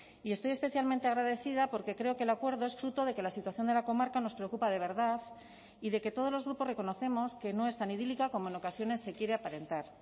y estoy especialmente agradecida porque creo que el acuerdo es fruto de que la situación de la comarca nos preocupa de verdad y de que todos los grupos reconocemos que no es tan idílica como en ocasiones se quiere aparentar